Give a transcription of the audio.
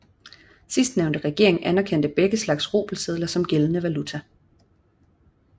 Sidstnævnte regering anerkendte begge slags rubelsedler som gældende valuta